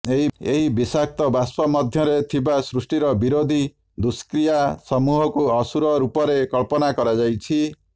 ଏହି ବିଷାକ୍ତ ବାଷ୍ପ ମଧ୍ୟରେ ଥିବା ସୃଷ୍ଟିର ବିରୋଧୀ ଦୁଷ୍କ୍ରିୟା ସମୂହକୁ ଅସୁର ରୂପରେ କଳ୍ପନା କରାଯାଇଅଛି